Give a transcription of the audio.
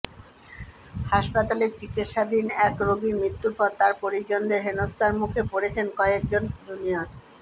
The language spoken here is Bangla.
হাসপাতালে চিকিৎসাধীন এক রোগীর মৃত্যুর পর তাঁর পরিজনদের হেনস্থার মুখে পড়েছেন কয়েক জন জুনিয়র